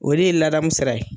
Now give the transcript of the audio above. O de ye ladamu sira ye.